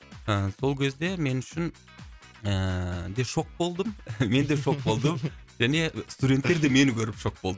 ыыы сол кезде мен үшін ыыы де шок болдым менде шок болдым және студенттер де мені көріп шок болды